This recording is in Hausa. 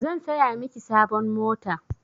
Zan saya miki sabon mota.